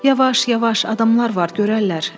Yavaş, yavaş, adamlar var görərlər.